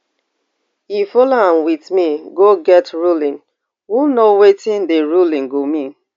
e follow am wit we go get ruling who know wetin di ruling go mean